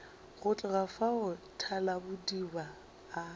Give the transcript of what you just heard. go tloga fao thalabodiba a